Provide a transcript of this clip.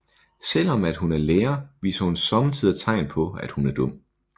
Selvom at hun er lærer viser hun sommetider tegn på at hun er dum